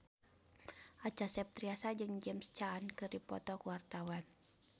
Acha Septriasa jeung James Caan keur dipoto ku wartawan